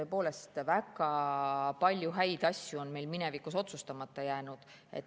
Tõepoolest, väga palju häid asju on meil minevikus otsustamata jäänud.